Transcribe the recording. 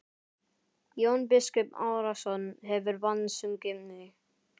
Jón biskup Arason hefur bannsungið mig.